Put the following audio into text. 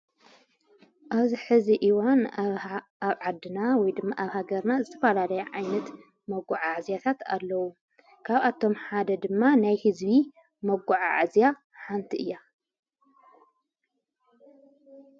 ኣብዚ ሕዚ ኢዋን ኣብ ዓድና ወ ድሚ ኣብ ሃገርና ዘተፈላለይ ዓይነት መጕዕ ኣዕዚያታት ኣለዉ። ካብ ኣቶም ሓደ ድማ ናይ ሕዝቢ መጕዓዓዝያ ሓንቲ እያ።